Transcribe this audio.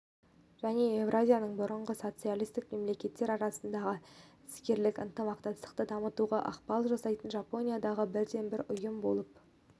және еуразияның бұрынғы социалистік мемлекеттер арасындағы іскерлік ынтымақтастықты дамытуға ықпал жасайтын жапониядағы бірден-бір ұйым болып